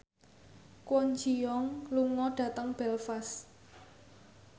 Kwon Ji Yong lunga dhateng Belfast